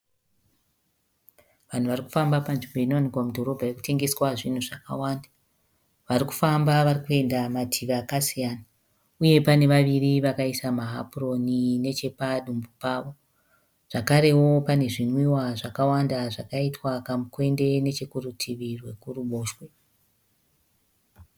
Vanhu varikufamba panzvimbo inowanikwa mudhorobha inetengeswa zvinhu zvakawanda. Varikufamba vari kuenda mativi akasina. Uye pane vaviri vakaisa mahapuroni nechepadumbu pavo. Zvakarewo pane zvinwiwa zvakawanda zvaitwa kamukwende nechekurutivi rwekuruboshwe